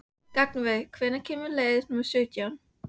Gunnveig, hvenær kemur leið númer sautján?